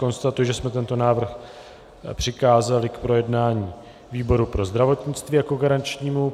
Konstatuji, že jsme tento návrh přikázali k projednání výboru pro zdravotnictví jako garančnímu.